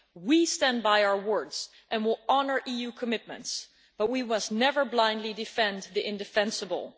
We stand by our words and will honour EU commitments, but we must never blindly defend the indefensible.